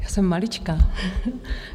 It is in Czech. Já jsem maličká.